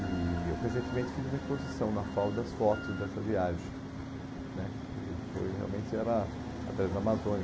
E eu recentemente fiz uma exposição na FAU das fotos dessa viagem né, que foi realmente era a Transamazônica.